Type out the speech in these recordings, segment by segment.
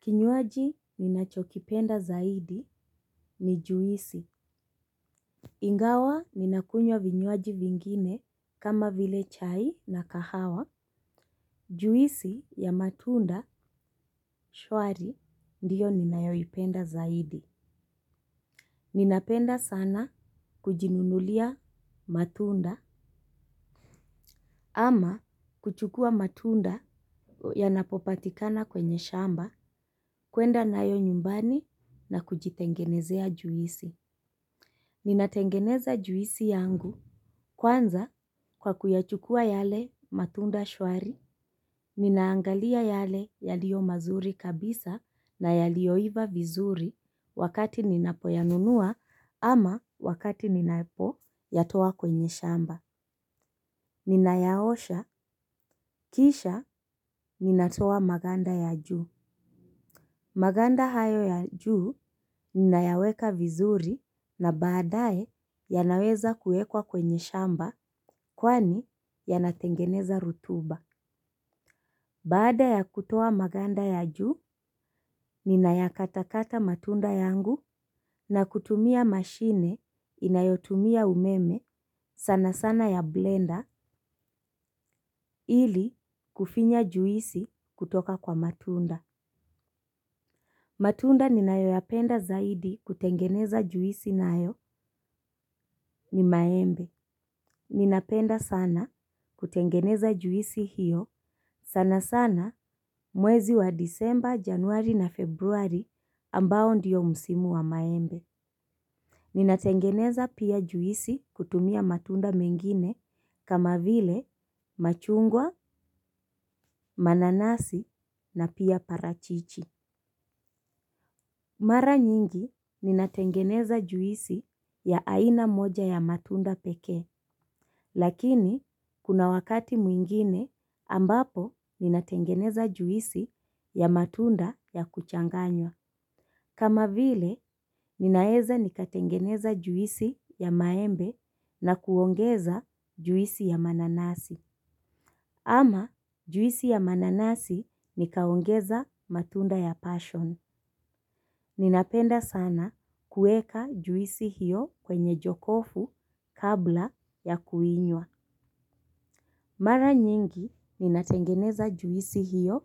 Kinyuaji minachokipenda zaidi ni juisi. Ingawa minakunywa vinyuaji vingine kama vile chai na kahawa. Juisi ya matunda shwari ndiyo ninayoipenda zaidi. Ninapenda sana kujinunulia matunda. Ama kuchukua matunda yanapopatikana kwenye shamba kuenda nayo nyumbani na kujitengenezea juisi. Nina tengeneza juisi yangu kwanza kwa kuyachukua yale matunda shwari, ninaangalia yale yalio mazuri kabisa na yalioiva vizuri wakati ninapoyanunua ama wakati ninapo yatoa kwenye shamba. Ninayaosha, kisha ninatoa maganda ya juu. Maganda hayo ya juu ninayaweka vizuri na baadae yanaweza kuekwa kwenye shamba kwani yanatengeneza rutuba. Baada ya kutoa maganda ya juu ninayakatakata matunda yangu na kutumia mashine inayotumia umeme sana sana ya blender ili kufinya juisi kutoka kwa matunda. Matunda ninayoyapenda zaidi kutengeneza juisi nayo ni maembe. Ninapenda sana kutengeneza juisi hiyo sana sana mwezi wa disemba, januari na februari ambao ndiyo musimu wa maembe. Ninatengeneza pia juisi kutumia matunda mengine kama vile machungwa, mananasi na pia parachichi. Mara nyingi ninatengeneza juisi ya aina moja ya matunda peke, lakini kuna wakati mwingine ambapo ninatengeneza juisi ya matunda ya kuchanganywa. Kama vile, ninaeza nikatengeneza juisi ya maembe na kuongeza juisi ya mananasi. Ama juisi ya mananazi nikaongeza matunda ya passion. Ninapenda sana kueka juisi hiyo kwenye jokofu kabla ya kuinywa. Mara nyingi ninatengeneza juisi hiyo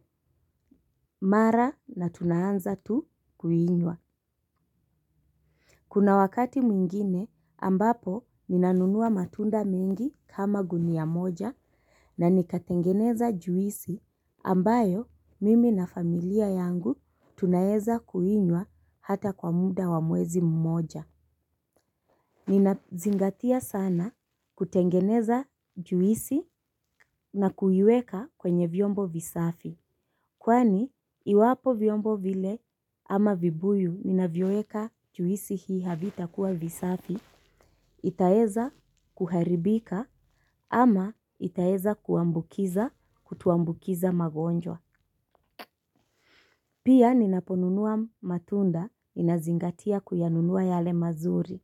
mara na tunaanza tu kuinywa. Kuna wakati mwingine ambapo ninanunua matunda mingi kama guni ya moja na nikatengeneza juisi ambayo mimi na familia yangu tunayeza kuinywa hata kwa muda wamwezi mmoja. Nina zingatia sana kutengeneza juisi na kuyueka kwenye vyombo visafi. Kwani, iwapo vyombo vile ama vibuyu ninavyoeka juisi hii havitakuwa visafi, itaeza kuharibika ama itaeza kuambukiza kutuambukiza magonjwa. Pia ninaponunua matunda ninazingatia kuyanunua yale mazuri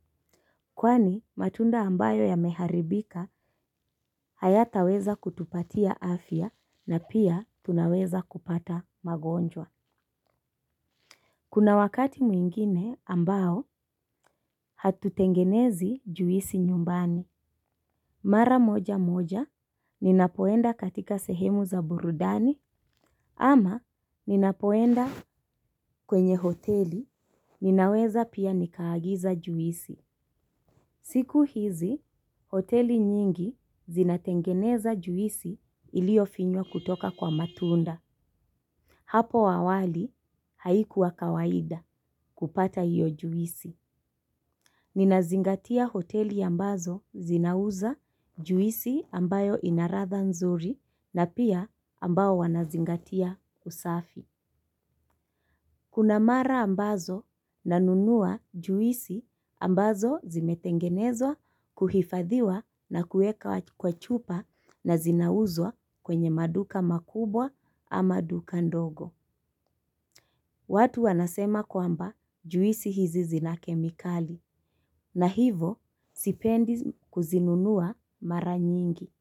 kwani matunda amabyo yameharibika haya taweza kutupatia afya na pia tunaweza kupata magonjwa. Kuna wakati mwingine ambao hatutengenezi juisi nyumbani. Mara moja moja ninapoenda katika sehemu za burudani ama ninapoenda kwenye hoteli ninaweza pia nikaagiza juisi. Siku hizi, hoteli nyingi zinatengeneza juisi ilio finywa kutoka kwa matunda. Hapo awali haikuwa kawaida kupata iyo juisi. Ninazingatia hoteli ambazo zinauza juisi ambayo inaratha nzuri na pia ambao wanazingatia usafi. Kuna mara ambazo nanunuwa juisi ambazo zimetengenezwa kuhifadhiwa na kueka kwa chupa na zinauzwa kwenye maduka makubwa ama duka ndogo. Watu wanasema kwamba juisi hizi zina kemikali. Na hivo sipendi kuzinunuwa mara nyingi.